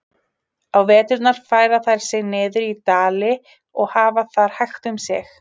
Á veturna færa þær sig niður í dali og hafa þar hægt um sig.